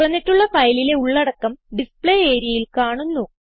തുറന്നിട്ടുള്ള ഫയലിലെ ഉള്ളടക്കം ഡിസ്പ്ലേ areaയിൽ കാണുന്നു